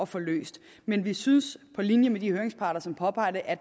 få løst men vi synes på linje med de høringsparter som påpeger det at